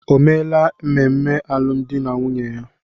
O meela ememe alụmdi na nwunye ya?